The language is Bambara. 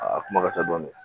Aa kuma ka ca dɔɔni